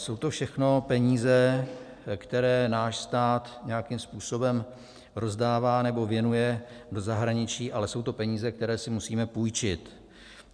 Jsou to všechno peníze, které náš stát nějakým způsobem rozdává nebo věnuje do zahraničí, ale jsou to peníze, které si musíme půjčit.